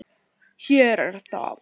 Hér er það.